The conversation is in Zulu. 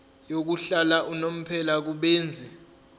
yokuhlala unomphela kubenzi